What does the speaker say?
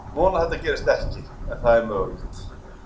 Ég vona að þetta gerist ekki en það er mögulegt.